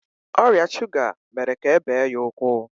ọrịa shuga mere ka e bee ya ụkwụ.